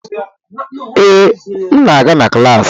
Ee, m na-aga na klas